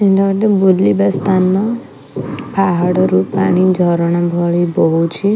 ଏଇଟା ଗୋଟେ ବୁଲିବା ସ୍ଥାନ। ପାହାଡ଼ରୁ ପାଣି ଝରଣା ଭଳି ବୋହୁଛି।